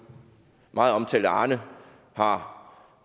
meget omtalte arne har